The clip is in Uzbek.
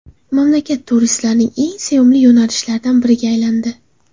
Mamlakat turistlarning eng sevimli yo‘nalishlaridan biriga aylandi.